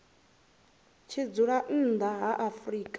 tshi dzula nnḓa ha afrika